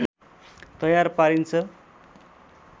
तयार पारिन्छ